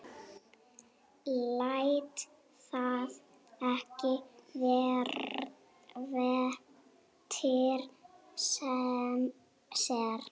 Lét það ekki eftir sér.